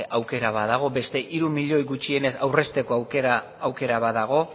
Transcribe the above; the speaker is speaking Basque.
aukera badago beste hiru milioi gutxienez aurrezteko aukera badago